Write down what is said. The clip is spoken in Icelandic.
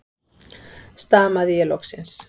stamaði ég loksins.